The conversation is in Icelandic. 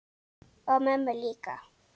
Og mömmu líka.